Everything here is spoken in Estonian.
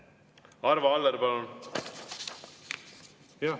Arvo Aller, palun!